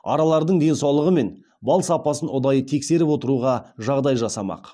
аралардың денсаулығы мен бал сапасын ұдайы тексеріп отыруға жағдай жасамақ